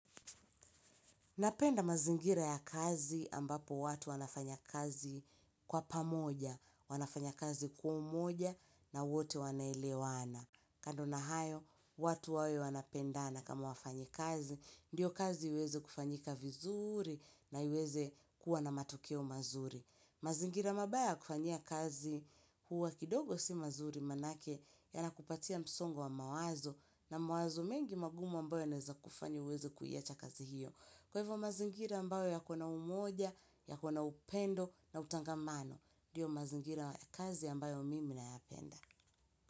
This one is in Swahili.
Napenda mazingira ya kazi ambapo watu wanafanya kazi kwa pamoja, wanafanya kazi kwa umoja na wote wanaelewana. Kando na hayo, watu wawe wanapendana kama wafanyikazi ndiyo kazi iweze kufanyika vizuuri na iweze kuwa na matokeo mazuri. Mazingira mabaya ya kufanyia kazi huwa kidogo si mazuri manake yanakupatia msongo wa mawazo na mawazo mengi magumu ambayo yanaweza kufanya uweze kuiacha kazi hiyo. Kwa hivyo mazingira ambayo yako na umoja, yako na upendo na utangamano ndio mazingira ya kazi ambayo mimi nayapenda.